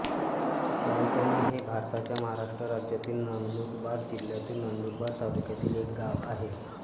सायटणे हे भारताच्या महाराष्ट्र राज्यातील नंदुरबार जिल्ह्यातील नंदुरबार तालुक्यातील एक गाव आहे